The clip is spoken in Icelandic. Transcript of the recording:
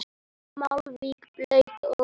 Malbik blautt og mölin.